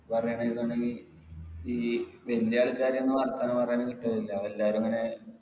പറയാന്നുണ്ടങ്കി ഈ ആൾക്കാരെന്നു പറഞ്ഞാലും കിട്ടലില്ല എല്ലാരും ഇങ്ങനെ